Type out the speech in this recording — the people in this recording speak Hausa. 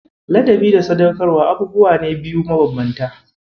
Ladabi da Sadaukarwa abubuwa ne biyu mabanbanta.